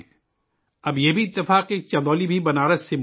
اب یہ بھی اتفاق ہے کہ چندولی بھی بنارس سے سٹا ہوا ہے